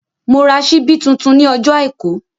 Mo ra ṣíbí tuntun ní ọjọ́ àìkú